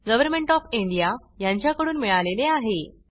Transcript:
government of India कडून मिळाले आहे